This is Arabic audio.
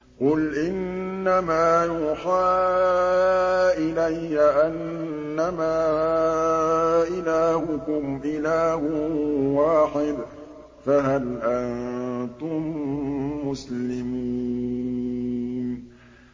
قُلْ إِنَّمَا يُوحَىٰ إِلَيَّ أَنَّمَا إِلَٰهُكُمْ إِلَٰهٌ وَاحِدٌ ۖ فَهَلْ أَنتُم مُّسْلِمُونَ